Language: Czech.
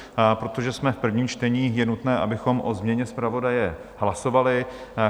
Protože jsme v prvním čtení, je nutné, abychom o změně zpravodaje hlasovali.